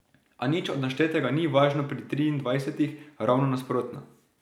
A nič od naštetega ni važno pri triindvajsetih, ravno nasprotno.